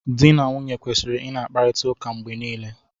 Di na nwunye kwesịrị ị na-akparịta ụka mgbe niile.